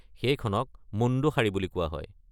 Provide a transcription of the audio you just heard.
সেইখনক মুণ্ডু শাড়ী বুলিও কোৱা হয়।